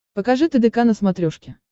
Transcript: покажи тдк на смотрешке